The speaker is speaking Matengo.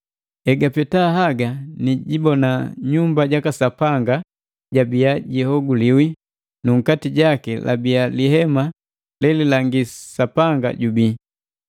Egapeta haga nijibona nyumba jaka Sapanga jabiya jihoguliwi nu nkati jaki labii lihema lelilangi Sapanga jubii.